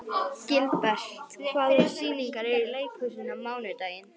Gilbert, hvaða sýningar eru í leikhúsinu á mánudaginn?